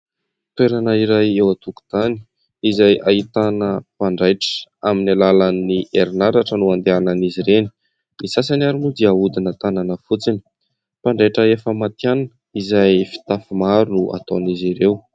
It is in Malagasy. Toerana iray eo an-tokotany izay ahitana mpanjaitra. Amin'ny alalan'ny herinaratra no andehanan'izy ireny. Ny sasany ary moa dia ahodina tanana fotsiny. Mpanjaitra efa matihanina izay fitafy maro no ataon'izy ireo.